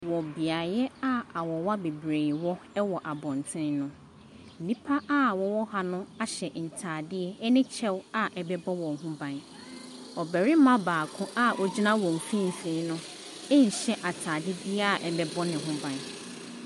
Wɔ beaeɛ a awowa bebree wɔ wɔ abɔntene no, nnipa a wɔwɔ ha no ahyɛ ntadeɛ ne kyɛw a ɛbɛbbɔ wɔn ho ban. Ɔbarima baako a ɔgyina wɔn mfimfini no nhyɛ atade biara a ɛbɛbɔ ne ho ban.